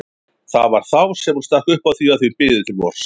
Það var þá sem hún stakk upp á því að þau biðu til vors.